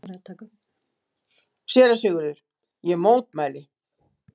SÉRA SIGURÐUR: Ég mótmæli!